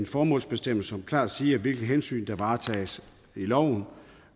formålsbestemmelse som klart siger hvilke hensyn der varetages i loven